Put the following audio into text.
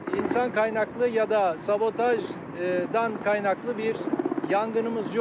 İnsan qaynaqlı yada sabodaşdan qaynaqlı bir yanğınımız yox.